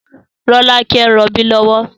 Rolake ń rọbí lọ́wọ́